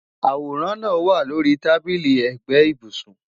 Aworan naa wa lori tabili ẹgbẹ ibusun